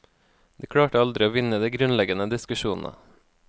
De klarte aldri å vinne de grunnleggende diskusjonene.